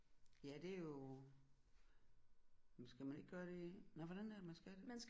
Ja det er jo men skal man ikke gøre det nåh hvordan er det man skal det